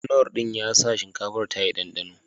Knorr din ya sa shinkafar ya yi ɗanɗano